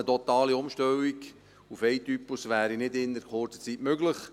Eine komplette Umstellung auf einen Typus wäre nicht innert kurzer Zeit möglich.